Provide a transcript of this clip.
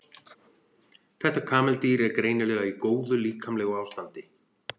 þetta kameldýr er greinilega í góðu líkamlegu ástandi